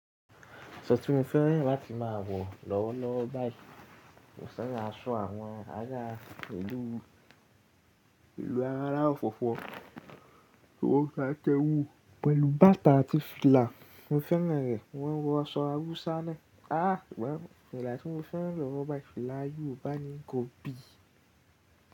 Aṣọ tí mo fẹ́ràn láti máa wọ̀ lọ́wọ́lọ́wọ́ báyìí, mo ṣẹ́yà sọ àwọn àyá ìlú ara ọ̀fọ̀fọ́, kí n ó ṣà tẹwú pẹ̀lú bàtà àti fìlà. Mo fẹ́ràn rẹ̀, mọ́n wọ aṣọ Hausa naa. Áà, well, fìlà tí mo fẹ́ràn lọwọ báyìí fìlà Yorùbá ni Gọbì.